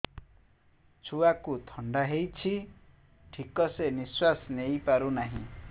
ଛୁଆକୁ ଥଣ୍ଡା ହେଇଛି ଠିକ ସେ ନିଶ୍ୱାସ ନେଇ ପାରୁ ନାହିଁ